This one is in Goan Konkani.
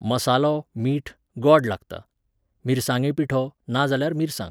मसालो, मीठ, गॉड लागता. मिरसांगे पिठो, नाजाल्यार मिरसांग